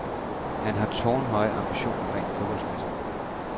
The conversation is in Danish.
Han har tårnhøje ambitioner rent fodboldmæssigt.